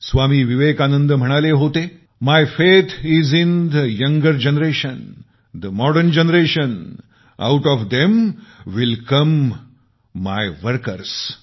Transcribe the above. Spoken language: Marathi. स्वामी विवेकानंद म्हणाले होते my faith is in the younger generation the modern generation out of them will come my workers